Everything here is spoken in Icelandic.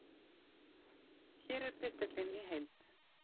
Hér er pistillinn í heild